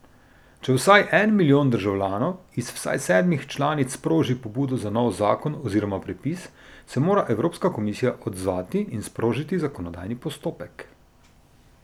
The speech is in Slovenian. Če vsaj en milijon državljanov iz vsaj sedmih članic sproži pobudo za nov zakon oziroma predpis, se mora Evropska komisija odzvati in sprožiti zakonodajni postopek.